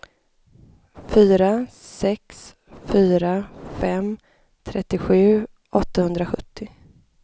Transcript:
fyra sex fyra fem trettiosju åttahundrasjuttio